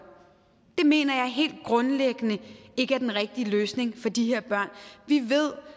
mener jeg helt grundlæggende ikke er den rigtige løsning for de her børn vi ved